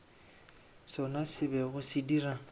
sona se bego se dira